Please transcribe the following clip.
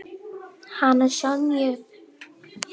Hana Sonju?